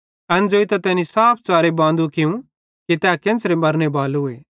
एन ज़ोइतां तैनी साफ च़ारे बांदू कियूं ते तै केन्च़रां मरने बालो